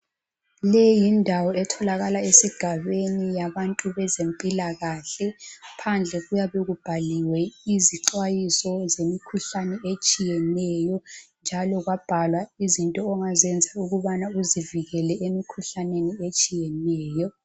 Leyi yindawo etholakala esigabeni, yabantu bezempilakahle, phandle kuyabe kubhaliwe izixwayiso zemkhuhlane etshiyeneyo, njalo kwabhalwa izinto ongazenza ukubana uzivikele emkhuhlaneni etshiyeneyo.